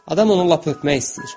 Adam onu lap öpmək istəyir.